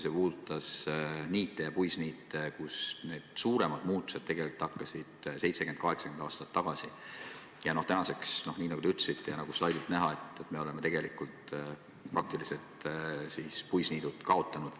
See puudutas niite ja puisniite, kus suuremad muutused algasid tegelikult 70–80 aastat tagasi ja tänaseks, nii nagu te ütlesite ja nagu slaidilt näha, me oleme praktiliselt puisniidud kaotanud.